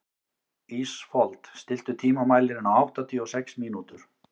Ísfold, stilltu tímamælinn á áttatíu og sex mínútur.